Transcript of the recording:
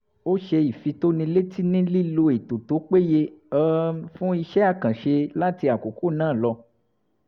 ó ṣe ìfitónilétí nílílò ètò tó péye um fún iṣẹ́ àkànṣe láti àkókò náà lọ